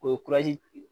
O ye